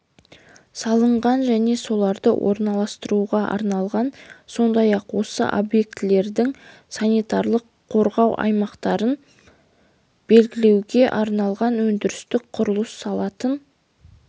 салынған және соларды орналастыруға арналған сондай-ақ осы объектілердің санитарлық-қорғау аймақтарын белгілеуге арналған өндірістік құрылыс салатын